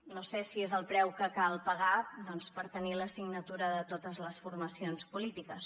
no sé si és el preu que cal pagar per tenir la signatura de totes les formacions polítiques